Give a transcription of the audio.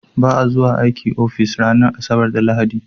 Ba a zuwa aiki ofis ranar Asabar da Lahadi.